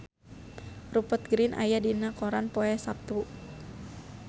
Rupert Grin aya dina koran poe Saptu